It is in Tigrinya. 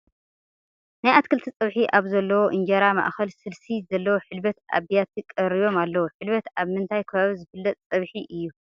ናይ ኣትክልቲ ፀብሒ ኣብ ዘለዎ እንጀራ ማእኸል ስልሲ ዘለዎ ሕልበት ኣብ ቢያቲ ቀሪቦም ኣለዉ፡፡ ሕልበት ኣብ ምንታይ ከባቢ ዝፍለጥ ፀብሒ እዩ?